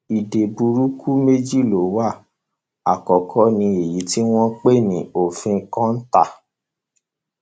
ìdè burúkú méjì ló wá àkókò ní èyí tí à ń pè ní òfin kota